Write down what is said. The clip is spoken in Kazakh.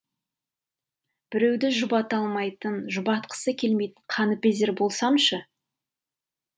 біреуді жұбата алмайтын жұбатқысы келмейтін қаныпезер болсамшы